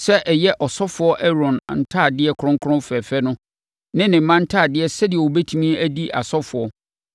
sɛ ɛyɛ ɔsɔfoɔ Aaron ntadeɛ kronkron fɛfɛ no ne ne mma ntadeɛ sɛdeɛ wɔbɛtumi adi asɔfoɔ;